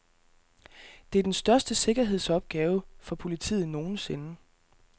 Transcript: Det er den største sikkerhedsopgave for politiet nogensinde.